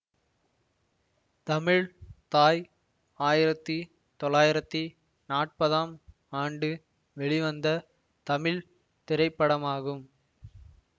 தமிழ் தாய் ஆயிரத்தி தொளாயிரத்தி நாற்பதாம் ஆண்டு வெளிவந்த தமிழ் திரைப்படமாகும்